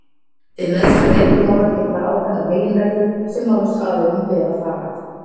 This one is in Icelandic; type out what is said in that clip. Við meðferð einkamála gilda ákveðnar meginreglur sem málsaðilum ber að fara eftir.